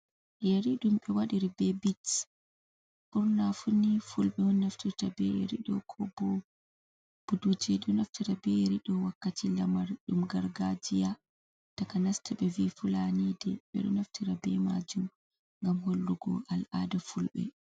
Yeri ɗum ɓe waɗiri be bits. Ɓurna funi fulɓe on naftirta be yeri ɗo ko bo buduje wakkati lamar ɗum gargajiya takanas to ɓevi fulani de. Ɓedo naftira be majum ngam hollugo al'ada fulɓe.